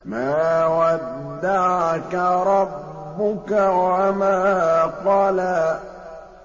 مَا وَدَّعَكَ رَبُّكَ وَمَا قَلَىٰ